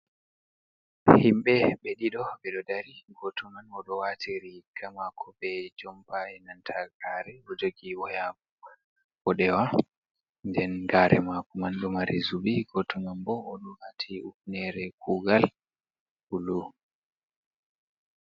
Himɓe ɓe ɗiɗo ɓe ɗo dari, gooto man o ɗo waati riiga maako bee jompa bee nanta gaare boo jagi waya mboɗewa nden gaare maako man ɗo mari zubi, gooto man boo o ɗo waati hufneeere kuugal uulu.